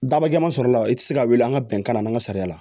Daba jama sɔrɔla i tɛ se ka wuli an ka bɛnkan na an ka sariya